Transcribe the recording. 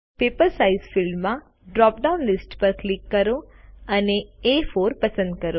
paper size ફિલ્ડમાં drop down list પર click કરો અને એ4 પસંદ કરો